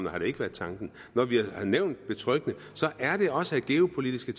har det ikke været tanken når vi har nævnt ordet betryggende er det også af geopolitiske